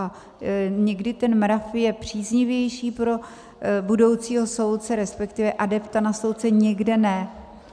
A někdy ten mrav je příznivější pro budoucího soudce, respektive adepta na soudce, někde ne.